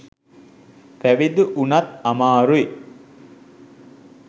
පැවිදි වුනත් අමාරුයි.